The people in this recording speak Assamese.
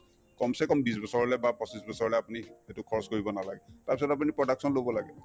kam see kam বিশ বছৰলে বা পঁচিশ বছৰলে আপুনি সেইটো খৰচ কৰিব নালাগে তাৰপিছত আপুনি production লব লাগে